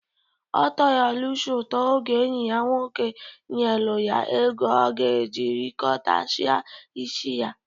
Ọ tọrọ Lusi ụtọ oge enyi ya nwoke nyelu ya ego ọ ga-eji rịtọchịa isi ya